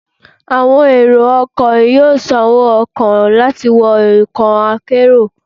Awọn ero ọkọ yọọ sán owo-ọkọ lati wọ ọkọ akérò